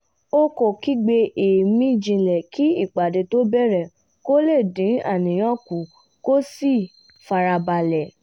ó kọ́ gbígbé èémí jinlẹ̀ kí ìpàdé tó bẹ̀rẹ̀ kó lè dín àníyàn kù kó sì fara balẹ̀